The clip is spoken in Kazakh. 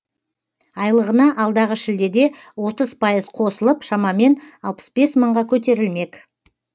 айлығына алдағы шілдеде отыз пайыз қосылып шамамен алпыс бес мыңға көтерілмек